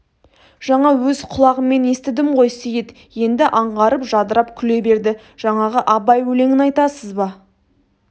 жаңа өз құлағыммен естідім ғой сейіт енді аңғарып жадырап күле берді жаңағы абай өлеңін айтасыз ба